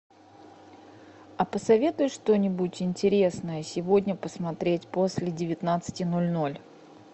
а посоветуй что нибудь интересное сегодня посмотреть после девятнадцати ноль ноль